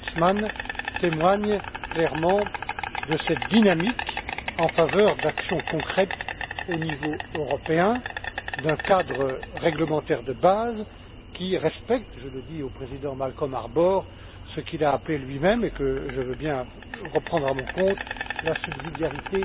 Creutzmann, témoignent clairement de cette dynamique en faveur d'actions concrètes au niveau européen d'un cadre réglementaire de base qui respecte je le dis au président Malcolm Harbour ce qu'il a lui même appelé et que je veux bien reprendre à mon compte la subsidiarité